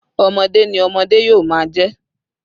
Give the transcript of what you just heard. ọmọde ni ọmọde yomajẹ